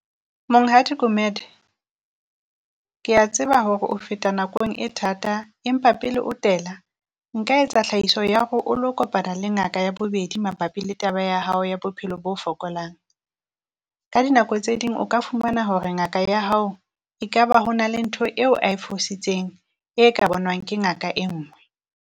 Monghadi Gumede kea tseba hore o feta nakong e thata empa pele o tela, nka etsa tlhahiso ya hore o lo kopana le ngaka ya bobedi mabapi le taba ya hao ya bophelo bo fokolang. Ka dinako tse ding o ka fumana hore ngaka ya hao ekaba ho na le ntho eo a e fositseng, e ka bonwang ke ngaka e nngwe.